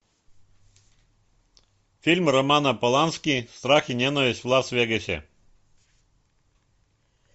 фильм романа полански страх и ненависть в лас вегасе